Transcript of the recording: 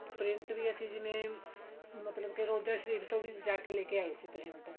print ਵੀ ਅਸੀਂ ਜਿਵੇਂ ਮਤਲਬ ਕੀ ਰੋਜ਼ਾ ਸ਼ਰੀਫ਼ ਤੋਂ ਵੀ ਜਾ ਕਿ ਲੈ ਕੇ ਆਈ ਸੀ print